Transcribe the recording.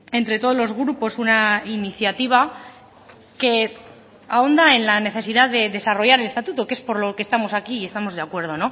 entre todos los grupos una iniciativa que ahonda en la necesidad de desarrollar el estatuto que es por lo que estamos aquí y estamos de acuerdo